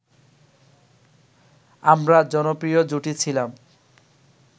আমরা জনপ্রিয় জুটি ছিলাম